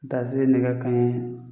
Taa se nɛgɛ kanɲɛ